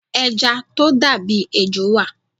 Ẹja tó dà bí ejò wà.